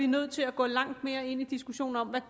nødt til at gå langt mere ind i diskussionen om hvad